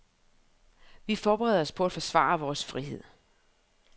Vi forbereder os på at forsvare vores frihed.